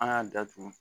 An y'a datugu